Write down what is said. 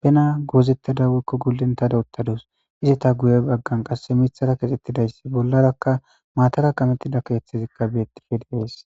bena gozetada woyikko gulintada uttaduss.izeta guye baganni qase miththara kexxettidda bollarakka buxanni kametida issi mata keththi de'ees .